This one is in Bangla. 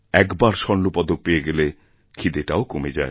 এক বার স্বর্ণপদক পেয়ে গেলে ক্ষিদেটাওকমে যায়